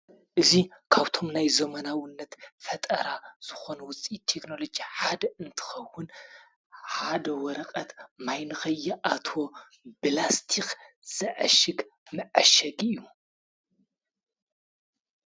እዚ ካብቶም ናይ ዘመናዉነት ፈጠራ ዝኾኑ ዉፅኢት ቴክኖሎጂ ሓደ እንትኸዉን ሓደ ወረቐት ማይ ንኸይኣትዎ ብላስቲኽ ዘዐሽግ መዐሸጊ እዩ።